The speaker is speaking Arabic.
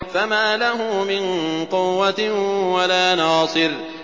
فَمَا لَهُ مِن قُوَّةٍ وَلَا نَاصِرٍ